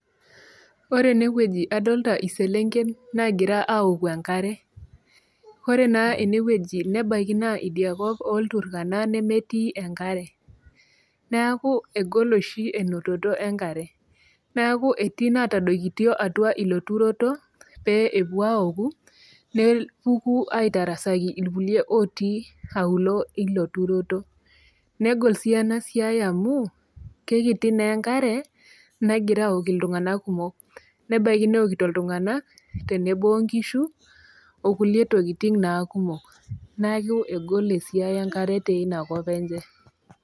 Ore enewueji naa adolita iselenken nagira aoku enkare , ore naa enewueji nebaiki naa india kop olturkana nemetii oshi enkare , neeku egol oshi elototo enkare neeku itadadokito ilo turoto pee epuo aoku nepuku aitasaki irkulie otii auluo ilo turoto , negol sii enasiai amu kekiti naa enkare negira aok iltunganak kumok, nebaiki neokito iltunganak tenebo onkishu okulie tokitin naa kumok , naaku egol esiai enkare teina kop enye.